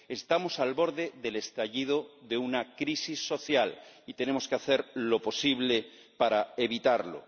Estamos al borde del estallido de una crisis social y tenemos que hacer lo posible para evitarlo.